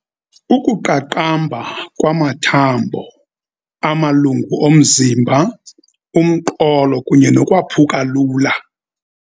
Ukuqaqamba kwamathambo, amalungu omzimba, umqolo kunye nokwaphuka lula.